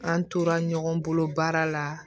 An tora ɲɔgɔn bolo baara la